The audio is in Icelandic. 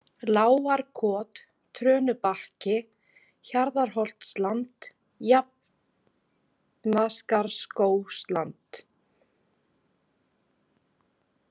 Lágarkot, Trönubakki, Hjarðarholtsland, Jafnaskarðsskógsland